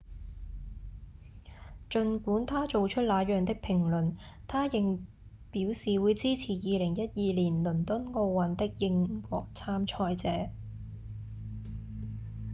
儘管他做出那樣的評論他仍表示會支持2012年倫敦奧運的英國參賽者